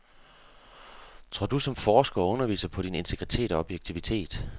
Tror du som forsker og underviser på din integritet og objektivitet.